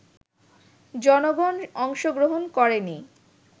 জনগণ অংশগ্রহণ করেনি